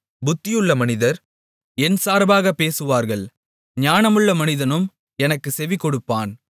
புத்தியுள்ள மனிதர் என் சார்பாகப் பேசுவார்கள் ஞானமுள்ள மனிதனும் எனக்குச் செவிகொடுப்பான்